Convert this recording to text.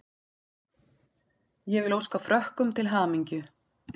Ég vil óska Frökkum til hamingju.